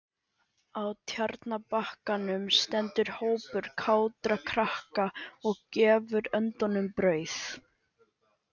Á Tjarnarbakkanum stendur hópur kátra krakka og gefur öndunum brauð.